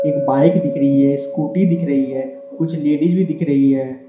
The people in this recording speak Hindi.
एक बाइक दिख रही है स्कूटी दिख रही है कुछ लेडिस भी दिख रही है।